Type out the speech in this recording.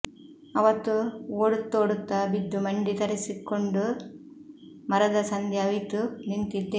ಅವತ್ತು ಓಡುತ್ತೋಡುತ್ತ ಬಿದ್ದು ಮಂಡಿ ತರಿಸಿಕೊಂಡು ಮರದ ಸಂದಿ ಅವಿತು ನಿಂತಿದ್ದೆ